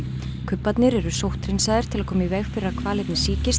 kubbarnir eru sótthreinsaðir til að koma í veg fyrir að hvalirnir